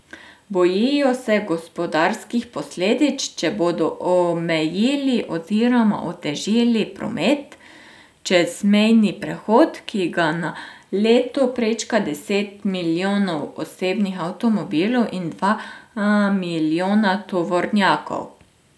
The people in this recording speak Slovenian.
Bojijo se gospodarskih posledic, če bodo omejili oziroma otežili promet čez mejni prehod, ki ga na leto prečka deset milijonov osebnih avtomobilov in dva milijona tovornjakov.